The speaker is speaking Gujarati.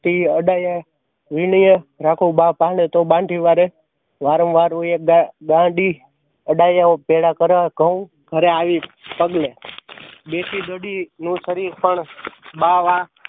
વીણીએ રાખું બા ભાડે તો બાંધી વાળે વારંવાર હું અડાયાવું ભેળા કરે ઘઉં ઘરે આવી કગળે. દેશી ઘડી નો સરીશ પણ બા